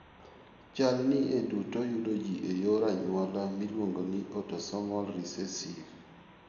Chal ni e duto yudo ji e yor anyuola miluongo ni autosomal recessive .